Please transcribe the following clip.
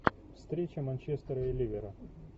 встреча манчестера и ливера